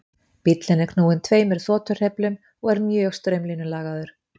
bíllinn er knúinn tveimur þotuhreyflum og er mjög straumlínulagaður